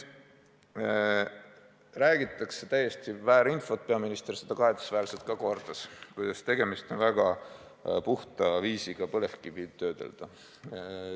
Jagatakse täiesti väära infot – ja peaminister seda kahetsusväärselt ka kordas –, kuidas tegemist on väga puhta viisiga põlevkivi töödelda.